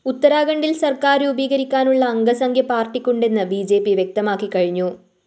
ഉത്തരാഖണ്ഢില്‍ സര്‍ക്കാര്‍ രൂപീകരിക്കാനുള്ള അംഗസംഖ്യ പാര്‍ട്ടിക്കുണ്ടെന്ന് ബി ജെ പി വ്യക്തമാക്കിക്കഴിഞ്ഞു